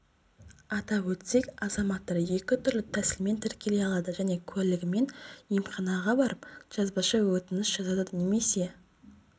атап өтсек азаматтар екі түрлі тәсілмен тіркеле алады жеке куәлігімен емханаға барып жазбаша өтініш жазады немесе